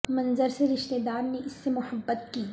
منظر سے رشتہ دار نے اس سے محبت کی